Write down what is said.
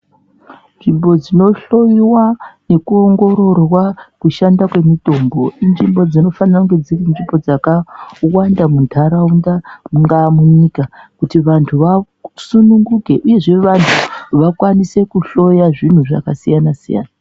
Nzvimbo inohloyiwa nekuongororwa kushanda kwemitombo, inzvimbo dzinofanirwa kuva dziri nzvimbo dzakawanda munharaunda mungaa munyika kuti vanhu vasununguke uye kuti vanhu vakwanise kuhloya zvinhu zvakasiyana siyana.